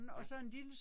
Ja